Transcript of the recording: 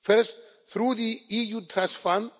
First, through the EU Trust